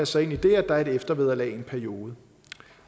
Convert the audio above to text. sig ind i det at der er et eftervederlag i en periode